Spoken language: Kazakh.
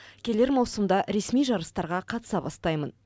келер маусымда ресми жарыстарға қатыса бастаймын